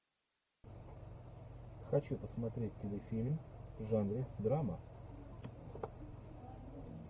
хочу посмотреть телефильм в жанре драма